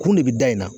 Kun de bɛ da in na